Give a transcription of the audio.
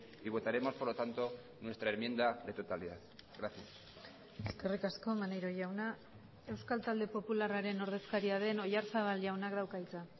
y votaremos por lo tanto nuestra enmienda de totalidad gracias eskerrik asko maneiro jauna euskal talde popularraren ordezkaria den oyarzabal jaunak dauka hitza